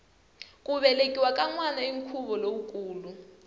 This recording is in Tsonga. ku velekiwa ka nwana i nkhuvo lowukulu